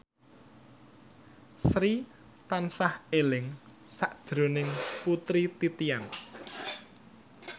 Sri tansah eling sakjroning Putri Titian